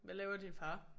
Hvad laver din far?